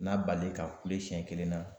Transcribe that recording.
N'a bale ka kule sɛn kelen na